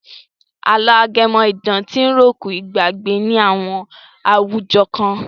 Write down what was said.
Àlọ́ ajẹ́mọ̀-idán ti ròkun ìgbàgbé ní àwọn àwùjọ kan.